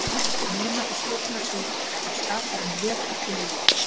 Nema í Sköpunarsögu okkar var Skaparinn röð af tilviljunum.